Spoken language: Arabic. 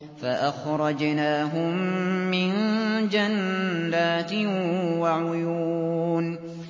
فَأَخْرَجْنَاهُم مِّن جَنَّاتٍ وَعُيُونٍ